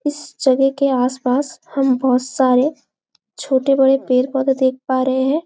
इस जगह के आसपास हम बहोत सारे छोटे बड़े पेड़-पोधा देख पा रहे है ।